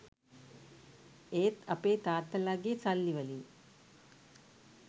ඒත් අපේ තාත්තලාගෙ සල්ලි වලින්